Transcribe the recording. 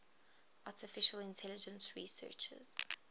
artificial intelligence researchers